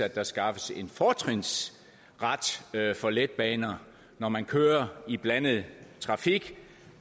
at der skaffes en fortrinsret for letbaner når man kører i blandet trafik